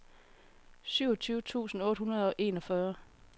syvogtyve tusind otte hundrede og enogfyrre